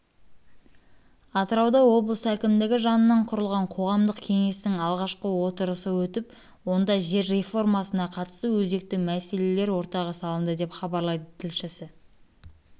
атырауда облыс әкімдігі жанынан құрылған қоғамдық кеңестің алғашқы отырысы өтіп онда жер реформасына қатысты өзекті мәселелер ортаға салынды деп хабарлайды тілшісі